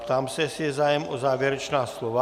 Ptám se, jestli je zájem o závěrečná slova.